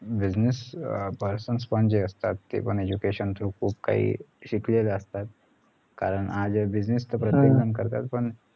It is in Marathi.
business अं persons point जे असतात ते पण education through चे खूप काही शिकलेले असतात अं business तर प्रत्येकजण करतात पण